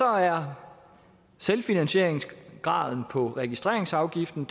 er selvfinansieringsgraden på registreringsafgiften